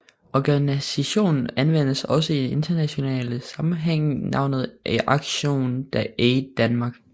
Organisationen anvender også i internationale sammenhænge navnet ActionAid Denmark